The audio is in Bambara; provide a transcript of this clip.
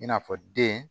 I n'a fɔ den